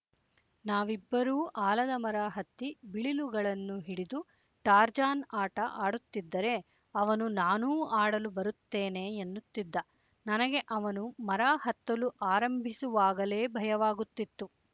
ನಾವಿಬ್ಬರೂ ಆಲದಮರ ಹತ್ತಿ ಬಿಳಿಲುಗಳನ್ನು ಹಿಡಿದು ಟಾರ್ಜಾನ್ ಆಟ ಆಡುತ್ತಿದ್ದರೆ ಅವನು ನಾನೂ ಆಡಲು ಬರುತ್ತೇನೆ ಎನ್ನುತ್ತಿದ್ದ ನನಗೆ ಅವನು ಮರ ಹತ್ತಲು ಆರಂಭಿಸುವಾಗಲೇ ಭಯವಾಗುತ್ತಿತ್ತು